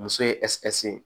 Muso ye ye